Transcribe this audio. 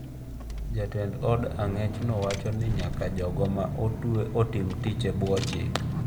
Jatend od ang’echno wacho ni nyaka jogo ma otwe otim tich e bwo chik.